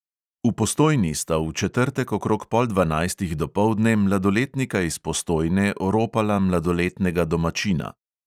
V postojni sta v četrtek okrog pol dvanajstih dopoldne mladoletnika iz postojne oropala mladoletnega domačina.